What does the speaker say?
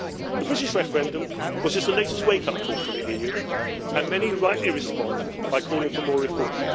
The British referendum was just the latest wake up call for the EU, and many rightly respond by calling for more reform.